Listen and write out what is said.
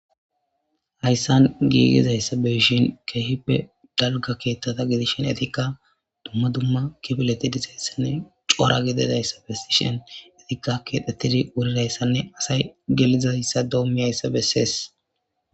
hayssan giigizayssa beyshin keehippe dalga keethta ta gilishen etikka dumma dumma kifleti dizayssanne cora gidedayssa besishen etikka kexxettidi wurirayssanne asay gelizayssa doommiyayssa besees